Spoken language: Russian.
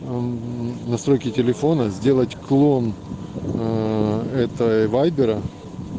ну настройки телефона сделать клон аа это вайбера